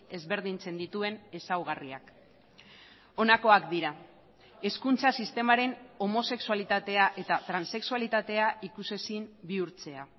ezberdintzen dituen ezaugarriak honakoak dira hezkuntza sistemaren homosexualitatea eta transexualitatea ikusezin bihurtzea